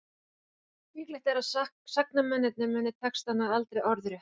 líklegt er að sagnamennirnir muni textana aldrei orðrétta